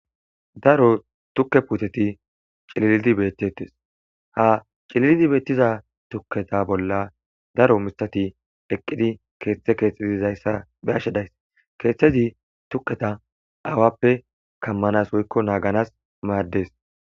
Daro tukke puuteti cililidi bettettes ha cililidi beettiza tukketa bolla daro misati eqqidi keeththe keexxezizayssa beashshedays keeththezi tukketa aawappe kammanas woykko naaganas maaddes